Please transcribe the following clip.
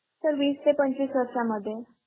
Sir वीस ते पंचवीस वर्षांमध्ये